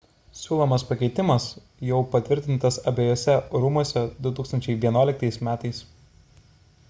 siūlomas pakeitimas jau patvirtintas abejuose rūmuose 2011 m